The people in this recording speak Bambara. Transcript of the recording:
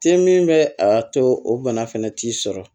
Te min bɛ a to o bana fɛnɛ t'i sɔrɔ